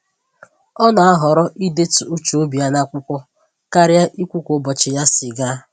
Ọ na-ahọrọ idetu uche obi ya n'akwụkwọ karịa ikwu ka ụbọchị ya si gaa